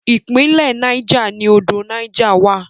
Ìpínlẹ̀ Niger ni odò Niger wà.